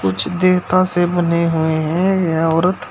कुछ देवता से बने हुए हैं या औरत--